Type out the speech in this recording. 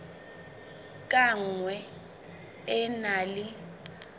ka nngwe e na le